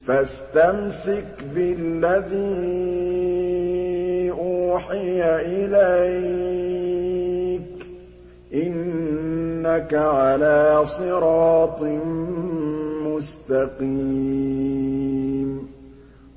فَاسْتَمْسِكْ بِالَّذِي أُوحِيَ إِلَيْكَ ۖ إِنَّكَ عَلَىٰ صِرَاطٍ مُّسْتَقِيمٍ